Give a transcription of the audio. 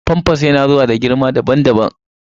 famfas yana zuwa da girma daban-daban.